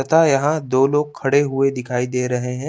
तथा यहाँ दो लोग खड़े हुए दिखाई दे रहे हैं।